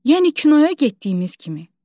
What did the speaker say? Yəni kinoya getdiyimiz kimi.